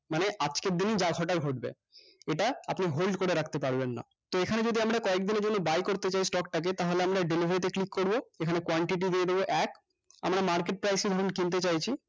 মানে আজকের দিনে যা ঘটার ঘটবে এটা আপনি hold করে রাখতে পারবেন না তো এখানে যদি আমরা কয়েকদিনের জন্য buy করতে চাই stock টা কে তাহলে আমরা delivery তে click করবো এখানে quantity দিয়ে দেব এক আমরা market price এই যখন কিনতে চাইছি